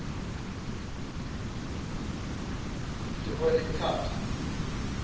d oyly carte